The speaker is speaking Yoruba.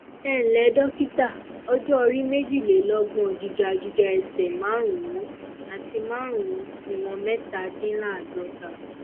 ẹǹlẹ dọkítà ọjọ orí méjìlélọgbọn gíga gíga ẹsẹ márùnún àti márùnún ìwọnmẹtàdínláàádọta